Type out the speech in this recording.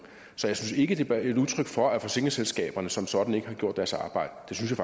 så jeg synes ikke det er et udtryk for at forsikringsselskaberne som sådan ikke har gjort deres arbejde